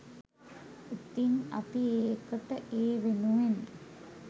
ඉතින් අපි ඒකට ඒ වෙනුවෙන්